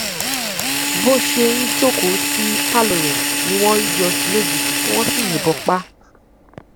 bó ṣe ń jókòó sí pálọ rẹ ni wọn yọ sí i lójijì tí wọn sì yìnbọn pa á